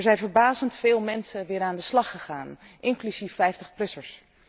Er zijn verbazend veel mensen weer aan de slag gegaan, inclusief 50 plussers.